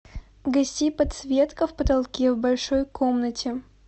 гаси подсветка в потолке в большой комнате